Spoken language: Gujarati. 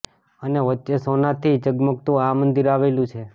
અને વચ્ચે સોના થી જગમગતું આ મંદિર આવેલુ છે